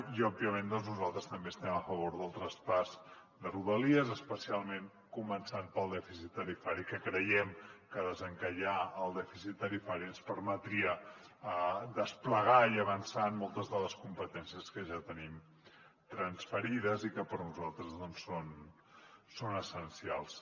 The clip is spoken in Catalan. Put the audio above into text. i òbviament nosaltres també estem a favor del traspàs de rodalies especialment començant pel dèficit tarifari que creiem que desencallar el dèficit tarifari ens permetria desplegar i avançar en moltes de les competències que ja tenim transferides i que per nosaltres són essencials